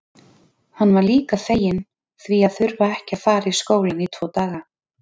Hann var líka feginn því að þurfa ekki að fara í skólann í tvo daga.